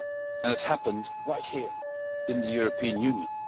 And it happened right here, in the European Union!